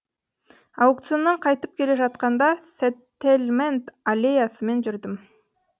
аукционнан қайтып келе жатқанда сеттельмент аллеясымен жүрдім